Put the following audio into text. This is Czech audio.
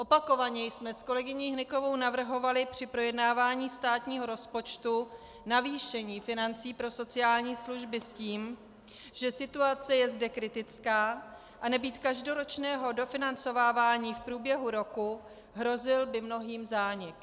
Opakovaně jsme s kolegyní Hnykovou navrhovaly při projednávání státního rozpočtu zvýšení financí pro sociální služby s tím, že situace je zde kritická a nebýt každoročního dofinancovávání v průběhu roku, hrozil by mnohým zánik.